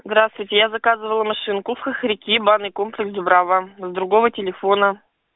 здравствуйте я заказывала машинку в хохряки банный комплекс дубрава с другого телефона